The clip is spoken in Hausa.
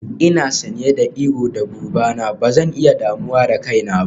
Ina sanye da iro da buba na, ba zan iya damuwa da kaina ba.